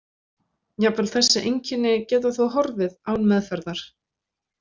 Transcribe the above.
Jafnvel þessi einkenni geta þó horfið án meðferðar.